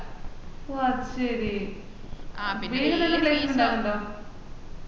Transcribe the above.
ഓഹ് അതുശേരി വേഗം തന്നെ